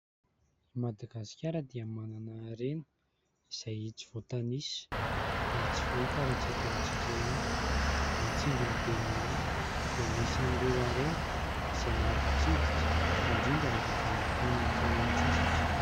I Madagasikara dia manana harena izay tsy voatanisa ary tsy fahita raha tsy eto amintsika ihany, ny tsingin'i Bemaraha dia anisan'ireo harena izay maro mpitsidika indrindra rehefa vanim-potoanan'ny fialan-tsasatra.